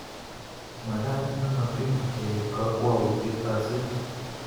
Magat nemo tiny keib kakwautiet asi